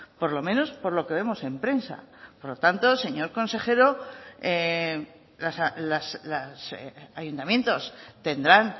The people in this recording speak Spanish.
por lo menos por lo que vemos en prensa por lo tanto señor consejero los ayuntamientos tendrán